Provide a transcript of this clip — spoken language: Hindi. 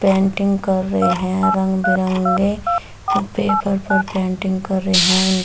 पेंटिंग कर रहे है रंग-बिरंगे पेपर पर पेंटिंग कर रहे है उन--